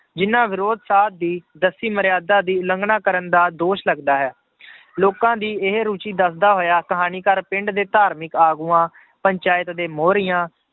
ਜਿੰਨਾਂ ਵਿਰੋਧ ਸਾਧ ਦੀ ਦੱਸੀ ਮਰਿਆਦਾ ਦੀ ਉਲੰਘਣਾ ਕਰਨ ਦਾ ਦੋਸ਼ ਲੱਗਦਾ ਹੈ ਲੋਕਾਂ ਦੀ ਇਹ ਰੁੱਚੀ ਦੱਸਦਾ ਹੋਇਆ ਕਹਾਣੀਕਾਰ ਪਿੰਡ ਦੇ ਧਾਰਮਿਕ ਆਗੂਆਂ, ਪੰਚਾਇਤ ਦੇ ਮੋਹਰੀਆਂ